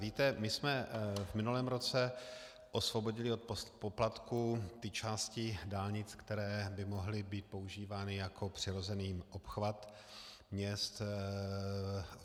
Víte, my jsme v minulém roce osvobodili od poplatků ty části dálnic, které by mohly být používány jako přirozený obchvat měst.